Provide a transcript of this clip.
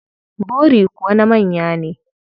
Bori kuwa na manya ne.